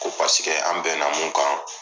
Ko paseke an bɛnna mun kan